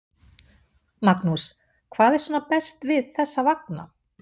Magnús: Hvað er svona best við þessa vagna?